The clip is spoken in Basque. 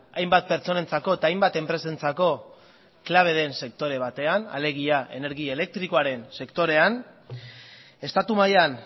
hainbat pertsonentzako eta hainbat enpresentzako klabe den sektore batean alegia energia elektrikoaren sektorean estatu mailan